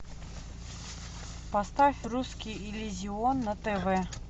поставь русский иллюзион на тв